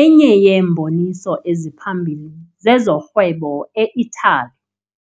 enye yeemboniso eziphambili zezorhwebo e-Italy.